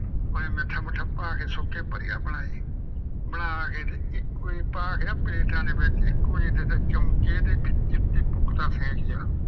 ਉਹਨੇ ਮਿੱਠਾ ਮੁਠਾ ਪਾ ਕੇ ਸੁੱਕੇ ਵਧੀਆ ਬਣਾਏ। ਬਣਾ ਕੇ ਤੇ ਇੱਕੋ ਜਿਹੇ ਪਾ ਕੇ ਨਾ ਪਲੇਟਾਂ ਦੇ ਵਿੱਚ ਇੱਕੋ ਜਿਹੇ ਦੇ ਤੇ ਚਮਚੇ ਤੇ ਇੱਕ ਫੈਂਟ ਲਿਆ।